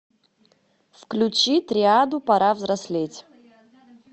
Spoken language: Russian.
включи триаду пора взрослеть